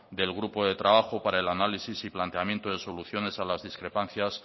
del grupo de trabajo para el análisis y planteamiento de soluciones a las discrepancias